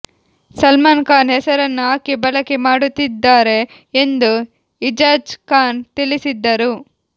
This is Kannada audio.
ಸಲ್ಮಾನ್ ಖಾನ್ ಹೆಸರನ್ನು ಆಕೆ ಬಳಕೆ ಮಾಡುತ್ತಿದ್ದಾರೆ ಎಂದು ಇಜಾಜ್ ಖಾನ್ ತಿಳಿಸಿದ್ದರು